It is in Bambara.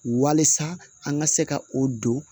Walasa an ka se ka o don